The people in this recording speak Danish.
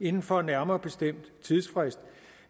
inden for en nærmere bestemt tidsfrist